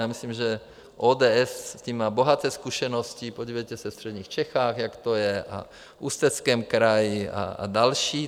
Já myslím, že ODS s tím má bohaté zkušenosti, podívejte se ve středních Čechách, jak to je, a v Ústeckém kraji a další.